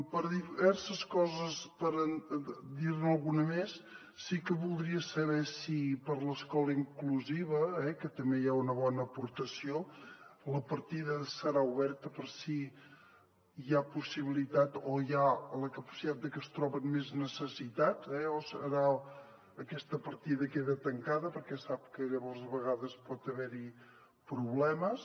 per diverses coses per dir ne alguna més sí que voldria saber si per a l’escola inclusiva que també hi ha una bona aportació la partida serà oberta per si hi ha possibilitat o hi ha la capacitat de que es troben més necessitats o aquesta partida queda tancada perquè sap que llavors a vegades pot haver hi problemes